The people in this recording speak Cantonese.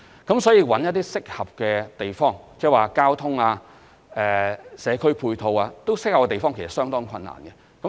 如是者，要覓得合適地方或交通和社區配套均合適的地方，其實是相當困難的。